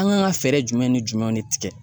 An kan ka fɛɛrɛ jumɛn ni jumɛnw de tigɛ?